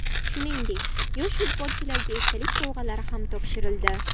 Shuningdek yosh futbolchilarga esdalik sovg‘alari ham topshirildi.